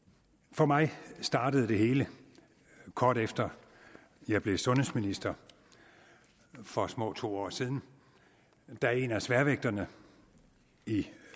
for mig startede det hele kort efter at jeg blev sundhedsminister for små to år siden da en af sværvægterne i